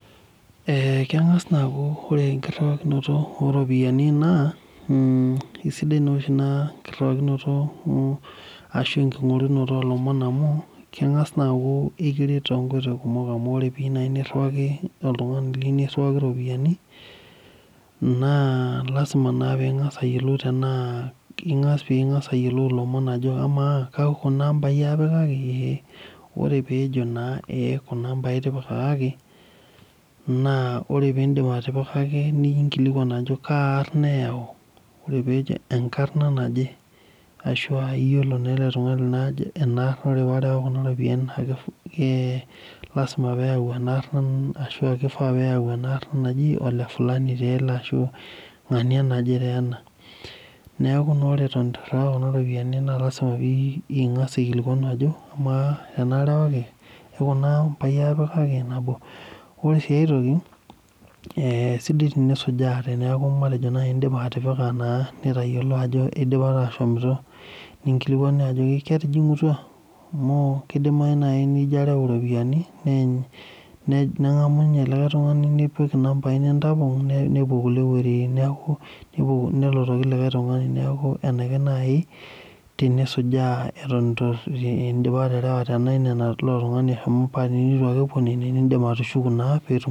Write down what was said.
Eeeh kang'as naaa aaku ore enkiriwakinoto ooropiyiani naa keng'as naa aaku ore enkiriwakinoto ashuu enking'orunoto oolomon amu keng'as naa aku ekiret tenkoitoi kumok amu ore piiyieu niriwaki oltung'ani iropiyiani naa lazima naa ping'as ayiolou tenaa peing'as ayiolou ilomon ajo amaaa kekuna aambai aapikaki ee ore peejo naa kuna aambai aapikaki naa ore peidip atipikaki ninkilikuan ajo kaarna eeyau ore peejo enkarna naje ashuaa iyiolo enaarna naa lazima peeyau enaarna ashaua keifaa peeyau enkarna naji ole fulani taa ele ashua ng'ania naje taa ena neeeku naa ore eto eitu iriwaa kuna ropiyiani naa lasima peeing'as aikilikuan ajo amaa tenaarewaki ke kuna aamba aapikaki nabo ore sii ae toki sidai tenisujaa teneeku indiipa atipika naa nitayiolo ajo eidipa aashomito ninkilikuanu ajo ketijing'utua amu keidimayu naaji nijio areu iropiyiani neeny neng'amu ninye likae tung'ani tenitapong nepuo kulie wuejitin neeku enaikash naaji tenisujaa eton endipa aterewa tenaa keilo. tung'ani eshomo paa teneitu ake epuo nenen nindim atushuku naa peetum